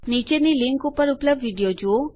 નીચેની લીંક ઉપર ઉપલબ્ધ વિડીઓ જુઓ